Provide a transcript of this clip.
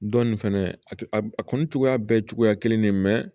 Dɔn nin fɛnɛ a kɔni cogoya bɛɛ cogoya kelen